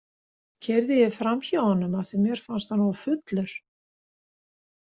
Keyrði ég fram hjá honum af því að mér fannst hann of fullur?